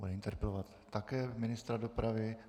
Bude interpelovat také ministra dopravy.